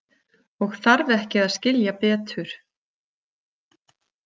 Og þarf ekki að skilja betur.